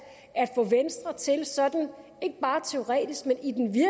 at få venstre til sådan ikke bare teoretisk men